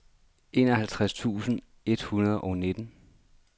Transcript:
enoghalvtreds tusind et hundrede og nitten